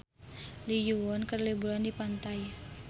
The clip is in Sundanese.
Lee Yo Won keur liburan di pantai